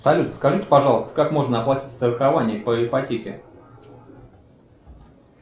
салют скажите пожалуйста как можно оплатить страхование по ипотеке